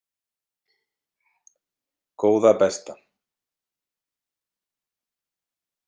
Góða besta.